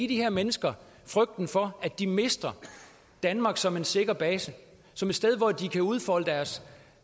de her mennesker frygten for at de mister danmark som en sikker base som et sted hvor de kan udfolde deres